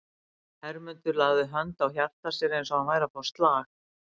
Hermundur lagði hönd á hjarta sér eins og hann væri að fá slag.